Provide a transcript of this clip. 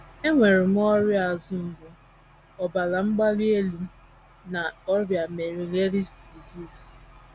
“ Enwere m ọrịa azụ mgbu, ọbara mgbali elu, na ọrịa Meniere’s disease.